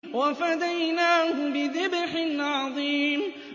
وَفَدَيْنَاهُ بِذِبْحٍ عَظِيمٍ